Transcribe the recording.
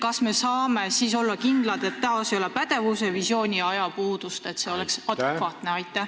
Kas me saame siis olla kindlad, et taas ei ole pädevuse-, visiooni- või ajapuudust ning et see on adekvaatne?